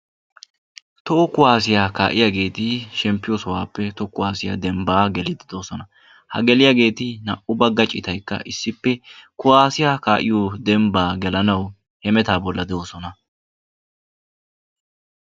Toho kuwaasiya kaa'iyageeti shemppiyo sohaappe toho kuwaasiya dembbaa geliiddi doosona. Ha geliyageeti naa''u bagga citaykka issippe kuwaasiya kaa'iyo dembbaa gelanawu hemetaa bollan de'oosona.